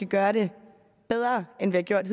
gøre det bedre end vi har gjort